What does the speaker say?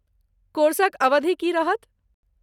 कोर्सक अवधि की रहत?